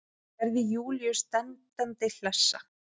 Gerði Júlíu standandi hlessa.